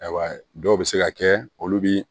Ayiwa dɔw bɛ se ka kɛ olu bi